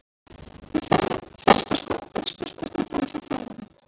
Í fyrsta skoppi spýttist hann framhjá Fjalari.